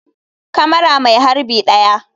Kamara mai harbi 1.